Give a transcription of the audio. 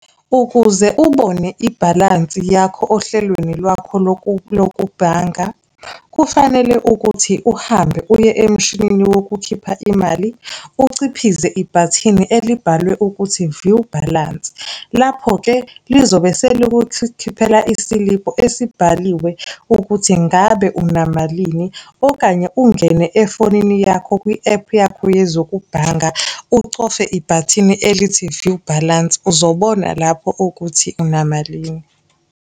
Ukuze ubone ibhalansi yakho ohlelweni lwakho lokubhanga, kufanele ukuthi uhambe uye emshinini wokukhipha imali, uciphize ibhathini elibhalwe ukuthi-view balance, lapho-ke lizobe selikukhiphela isiliphu esibhaliwe ukuthi ngabe unamalini, okanye ungene efonini yakho kwi-App yakho yezokubhanga, ucofe ibhathini elithi-view balance, uzobona lapho ukuthi unamalini.